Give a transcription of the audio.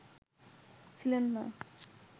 ছিলেন না